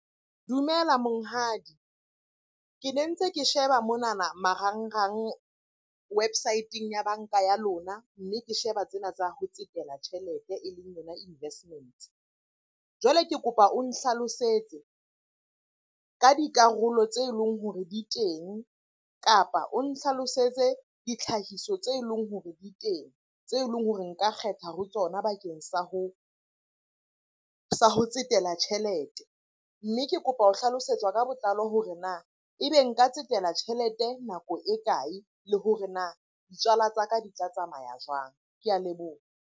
Dumela monghadi. Ke ne ntse ke sheba monana marangrang website-eng ya banka ya lona. Mme ke sheba tsena tsa ho tsetela tjhelete e leng yona investments. Jwale ke kopa o nhlalosetse ka dikarolo tse leng hore di teng, kapa o nhlalosetse ditlhahiso tse leng hore di teng tse leng hore nka kgetha ho tsona bakeng sa ho tsetela tjhelete. Mme ke kopa ho hlalosetswa ka botlalo hore na e be nka tsetela tjhelete nako e kae? Le hore na ditswala tsa ka di tla tsamaya jwang? Ke a leboha.